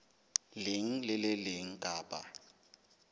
leng le le leng kapa